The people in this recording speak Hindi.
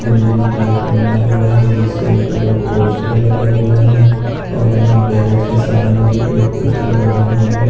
बिल्डिंग टाइप का बना हुआ है जिसके ऊपर एक पोस्टर लगा हुआ है और यहाँ गैरेज के सामने भी एक पोस्टर लगा हुआ है।